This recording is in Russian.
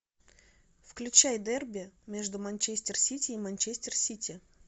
включай дерби между манчестер сити и манчестер сити